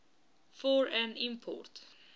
for an import